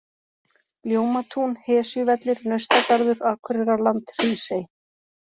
Ljómatún, Hesjuvellir, Naustagarður, Akureyrarland-Hrísey